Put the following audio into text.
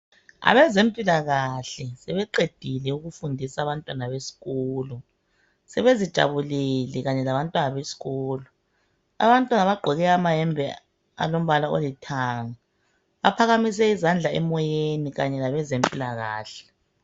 Abezempilakahle sebeqedile ukufundisa abantwana besikolo sebezijabulele kanye labantwana besikolo. Abantwana bagqoke amayembe alombala olithanga baphakamise izandla emoyeni kanye labezempilakahle.